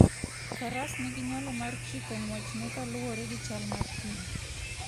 Faras nigi nyalo mar chiko ng'wechne kaluwore gi chal mar thim.